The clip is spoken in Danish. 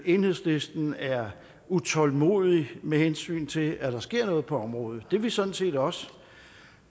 enhedslisten er utålmodig med hensyn til at der skal ske noget på området det er vi sådan set også